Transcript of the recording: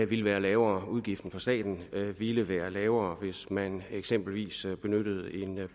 ville være lavere udgiften for staten ville være lavere hvis man eksempelvis benyttede en